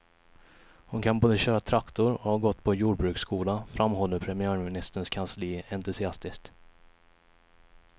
Hon kan både köra traktor och har gått på jordbruksskola, framhåller premiärministerns kansli entusiastiskt.